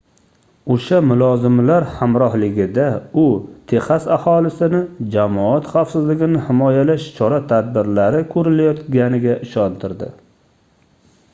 oʻsha mulozimlar hamrohligida u texas aholisini jamoat xavfsizligini himoyalash chora-tadbirlari koʻrilayotganiga ishontirdi